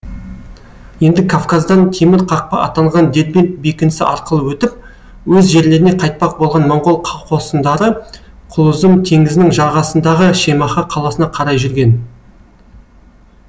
енді кавказдан темір қақпа атанған дербент бекінісі арқылы өтіп өз жерлеріне қайтпақ болған монғол қосындары құлұзұм теңізінің жағасындағы шемаха қаласына қарай жүрген